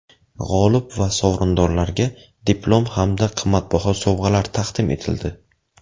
G‘olib va sovrindorlarga diplom hamda qimmatbaho sovg‘alar taqdim etildi.